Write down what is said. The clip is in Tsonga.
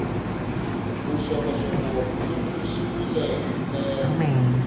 vuxokoxoko byi tumbuluxiwile hi ndlela